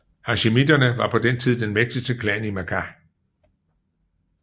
Hasjimitterne var på den tid den mægtigste klan i Makkah